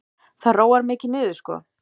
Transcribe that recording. Það róar mikið niður sko.